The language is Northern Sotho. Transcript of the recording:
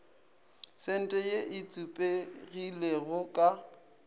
sente ye e tsupegilego ka